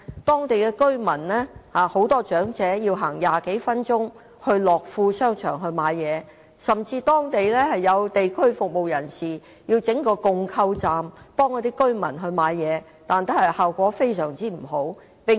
當地居民及長者需步行20多分鐘到樂富商場購物，有地區服務人士甚至在區內設置共購站幫助居民購物，但效果不理想。